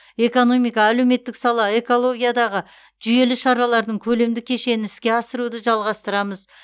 экономика әлеуметтік сала экологиядағы жүйелі шаралардың көлемді кешенін іске асыруды жалғастырамыз